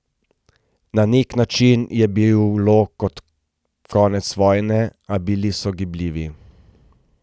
Na nek način je bilo kot konec vojne, a bili so gibljivi.